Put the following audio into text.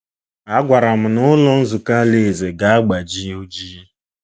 A gwara m na Ụlọ Nzukọ Alaeze ga-agbaji oji!